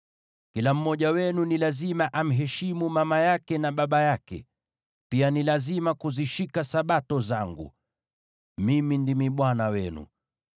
“ ‘Kila mmoja wenu ni lazima amheshimu mama yake na baba yake, na pia ni lazima kuzishika Sabato zangu. Mimi ndimi Bwana Mungu wenu.